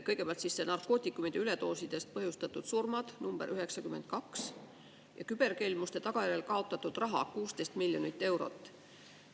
Kõigepealt narkootikumide üledoosidest põhjustatud surmad – number 92 – ja küberkelmuste tagajärjel kaotatud raha 16 miljonit eurot.